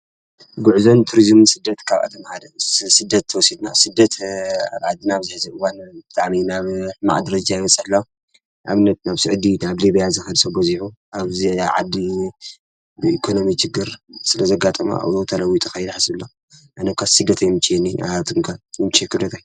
ጕዕዘን ቱርዝም ስደት ካብ ኣተመሃደ ስደት ወሴትናብ ሥደት ዓዲ ናብ ዘኂዘዕዋን ኣሜ ናብ ማዕድሪጃ ኣይወጸሕሎ ኣብ ነት ናብ ስዕዲ ናብ ሊቤያ ዘኸድ ሰቦ ዚኁ ኣብዓዲ ብኢኮኖሚ ጅግር ስለ ዘጋጠማ ኣብዞ ተለዊተ ኸይልሓስሎ ኣነኳ ሥደት ይምየኒ ኣ ጥንጋ ይምቄክደታይ::